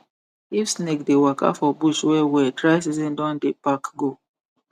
if snake dey waka for bush wellwell dry season don dey pack go